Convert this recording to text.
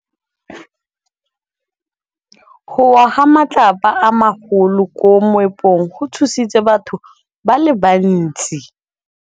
Go wa ga matlapa a magolo ko moepong go tshositse batho ba le bantsi.